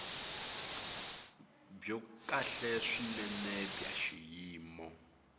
byo kahle swinene bya xiyimo